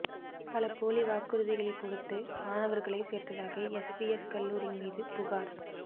பல போலி வாக்குறுதிகளை கொடுத்து மாணவர்களைச் சேர்த்ததாக எஸ்விஎஸ் கல்லூரி மீது புகார்